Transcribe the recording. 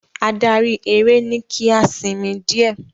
Adarí eré ni ki a sì sinmi diẹ.